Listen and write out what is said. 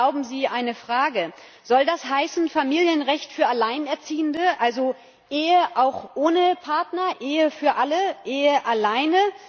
Aber erlauben Sie eine Frage Soll das heißen, Familienrecht für Alleinerziehende, also Ehe auch ohne Partner, Ehe für alle, Ehe alleine?